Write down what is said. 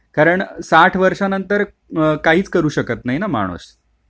कारण साठ वर्षानंतर काहीच करू शकत नाही ना माणूस